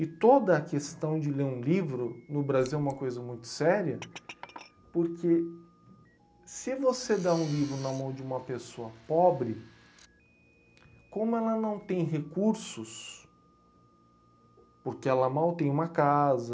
E toda a questão de ler um livro no Brasil é uma coisa muito séria, porque se você dá um livro na mão de uma pessoa pobre, como ela não tem recursos, porque ela mal tem uma casa...